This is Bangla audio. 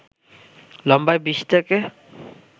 লম্বায় ২০ থেকে